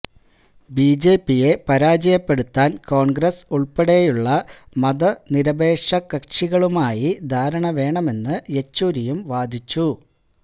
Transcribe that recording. B J പിയെ പരാജയപ്പെടുത്താന് കോണ്ഗ്രസ് ഉള്പ്പെടെയുള്ള മതനിരപേക്ഷ കക്ഷികളുമായി ധാരണ വേണമെന്ന് യെച്ചൂരിയും വാദിച്ചു